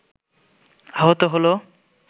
আহত হল